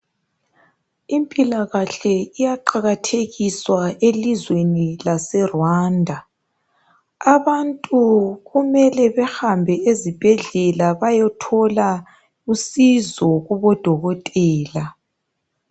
Impilakahle iyaqakathekiswa elizweni lase Rwanda. Abantu kumele behambe ezibhedlela bayothola usizo kubodokotela.